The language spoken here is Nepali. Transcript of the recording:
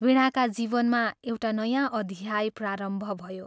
वीणाका जीवनमा एउटा नयाँ अध्याय प्रारम्भ भयो।